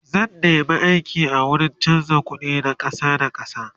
zan nema aiki a wurin chanza ƙuɗi na ƙasa da ƙasa